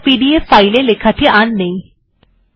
এটি খোলা যাক ওই লেখাটি এখন আর নেই